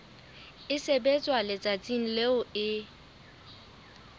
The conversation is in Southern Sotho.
e sebetswa letsatsing leo e